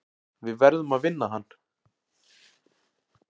Við verðum að vinna hann.